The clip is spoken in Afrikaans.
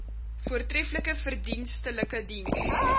voortreflike verdienstelike diens